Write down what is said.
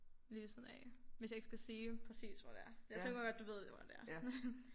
Ved siden af hvis jeg ikke skal sige præcis hvor det er jeg tror godt du ved hvor det er